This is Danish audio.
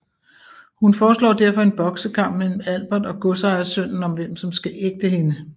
Hun foreslår derfor en boksekamp mellem Albert og godsejersønnen om hvem som skal ægte hende